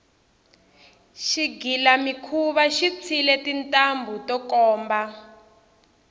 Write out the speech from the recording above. xigilamikhuva xi tshwile tintambhu to komba